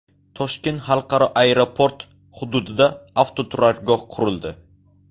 Toshkent xalqaro aeroport hududida avtoturargoh qurildi.